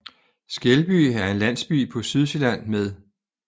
Skelby er en landsby på Sydsjælland med